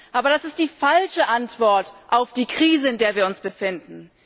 Aber das ist die falsche Antwort auf die Krise, in der wir uns befinden.